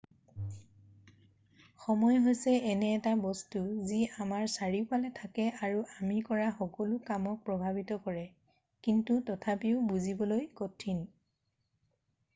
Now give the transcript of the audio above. সময় হৈছে এনে এটা বস্তু যি আমাৰ চাৰিওফালে থাকে আৰু আমি কৰা সকলো কামক প্ৰভাৱিত কৰে কিন্তু তথাপিও বুজিবলৈ কঠিন